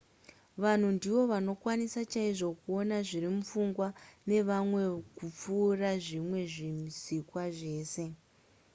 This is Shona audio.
vanhu ndivo vanokwanisa chaizvo kuona zviri kufungwa nevamwe kupfuura zvimwe zvisikwa zvese